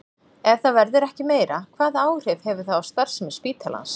Ef það verður ekki meira, hvaða áhrif hefur það á starfsemi spítalans?